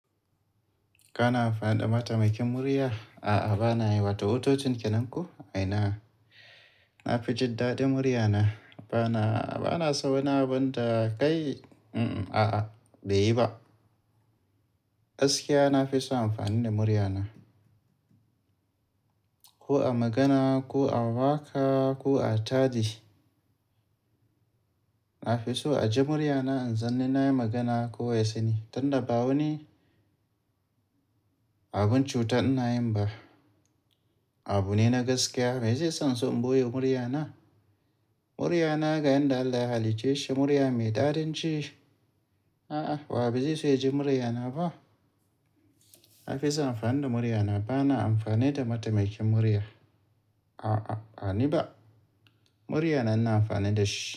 Kana amfani da mataimakin murya? A'a, ba na yi. Wato, hotocin kenan ko? A'ina. Na fi jin daɗin murya na. Ba na, ba na so na manta kai. Mm-mm, a'a, bai yi ba. Gaskiya na fi so amfani da murya na. Ko a magana, ko a waka, ko a taaje shi. Na fi so a ji murya na, in san ni nayi magana ko wa ya sani. Tunda ba wani, abun cuta ina yin ba. Abu ne na gaskiya. Me zai sa inso in ɓoye murya na? Murya na, ga yanda Allah ya halicce shi, murya mai tsarin ce. A'a, wa ba zai so ya ji murya na ba? Na fi so amfani da murya na. Ba na amfani da mataimakin murya. A'a, a ni ba. Murya na, na amfani da shi.